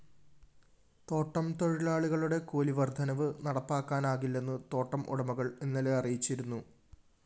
തോട്ടം തൊഴിലാളികളുടെ കൂലിവര്‍ദ്ധനവ് നടപ്പാക്കാനാകില്ലെന്ന് തോട്ടം ഉടമകള്‍ ഇന്നലെ അറിയിച്ചിരുന്നു